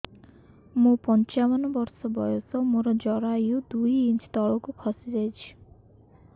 ମୁଁ ପଞ୍ଚାବନ ବର୍ଷ ବୟସ ମୋର ଜରାୟୁ ଦୁଇ ଇଞ୍ଚ ତଳକୁ ଖସି ଆସିଛି